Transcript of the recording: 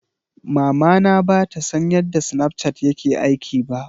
Mamana ba ta san ya snapchat yake aiki ba